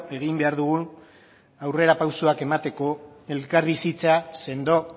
egin behar dugun aurrerapausoak emateko elkarbizitza sendo